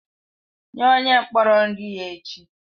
Nye onye mkpọrọ nri ya echi!